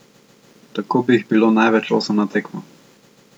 Tako bi jih bilo največ osem na tekmo.